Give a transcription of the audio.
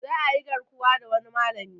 Za ayi garkuwa da wani malami